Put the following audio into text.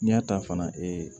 N'i y'a ta fana ee